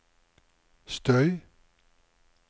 støy